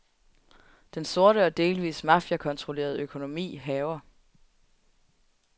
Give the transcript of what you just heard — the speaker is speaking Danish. Den sorte og delvis mafiakontrollerede økonomi hærger.